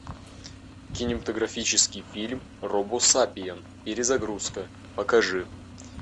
кинематографический фильм робосапиен перезагрузка покажи